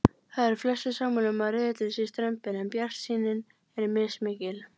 Það eru flestir sammála um að riðillinn sé strembinn en bjartsýnin er mismikil.